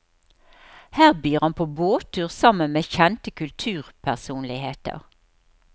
Her byr han på båttur sammen med kjente kulturpersonligheter.